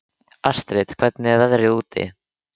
Astrid, hvernig er veðrið úti?